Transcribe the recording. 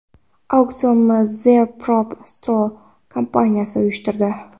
Auksionni The Prop Store kompaniyasi uyushtirdi.